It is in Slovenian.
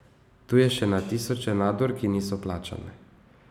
Tu je še na tisoče nadur, ki niso plačane.